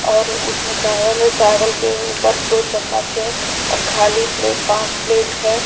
और उसमें चावल है चावल के ऊपर दो चम्मच है और खाली प्लेट पांच प्लेट है।